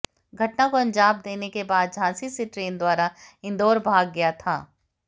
घटना को अंजाम देने के बाद झांसी से ट्रेन द्वारा इंदौर भाग गया था